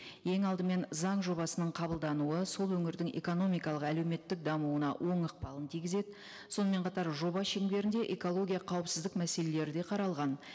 ең алдымен заң жобасының қабылдануы сол өңірдің экономикалық әлеуметтік дамуына оң ықпалын тигізеді сонымен қатар жоба шеңберінде экология қауіпсіздік мәселелері де қаралған